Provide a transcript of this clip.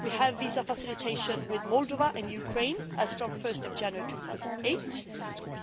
We have visa facilitation with Moldova and Ukraine as from 1 January 2008,